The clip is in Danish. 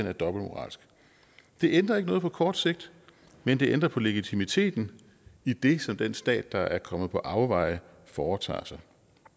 er dobbeltmoralsk det ændrer ikke noget på kort sigt men det ændrer på legitimiteten i det som den stat der er kommet på afveje foretager sig